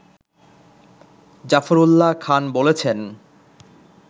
জাফরউল্লাহ খান বলেছেন